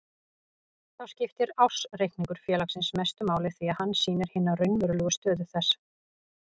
Þá skiptir ársreikningur félagsins mestu máli því að hann sýnir hina raunverulegu stöðu þess.